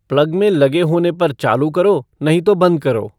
plug में लगे होने पर चालू करो नहीं तो बंद करो